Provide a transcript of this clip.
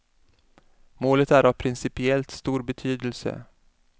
Målet är av principiellt stor betydelse.